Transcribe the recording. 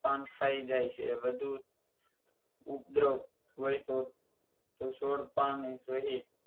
પાન ખાઈ જાય છે વધુ ઉપદ્રવ હોય તો છોડ પાન